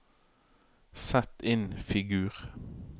sett inn figur